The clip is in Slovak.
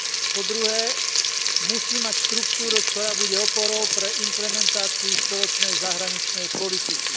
Po druhé, musí mať štruktúru, ktorá bude oporou pre implementáciu spoločnej zahraničnej politiky.